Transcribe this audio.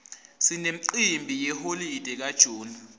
sinemcimbi yeholide ka june